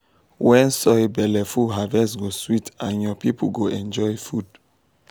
when soil belle full harvest go sweet and your people go enjoy food.